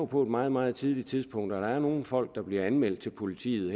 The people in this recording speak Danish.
på et meget meget tidligt tidspunkt der er nogle folk der bliver anmeldt til politiet